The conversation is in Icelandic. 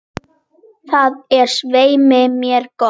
Það er svei mér gott.